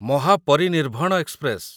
Mahaparinirvan express